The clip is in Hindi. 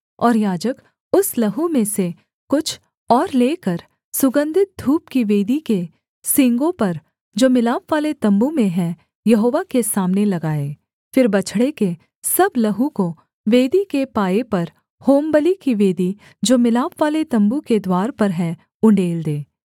और याजक उस लहू में से कुछ और लेकर सुगन्धित धूप की वेदी के सींगों पर जो मिलापवाले तम्बू में है यहोवा के सामने लगाए फिर बछड़े के सब लहू को वेदी के पाए पर होमबलि की वेदी जो मिलापवाले तम्बू के द्वार पर है उण्डेल दे